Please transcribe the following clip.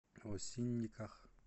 осинниках